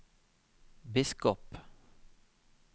biskop